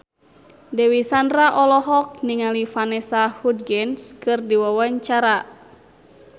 Dewi Sandra olohok ningali Vanessa Hudgens keur diwawancara